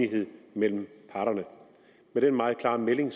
enighed mellem parterne med den meget klare melding